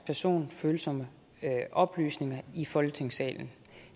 personfølsomme oplysninger i folketingssalen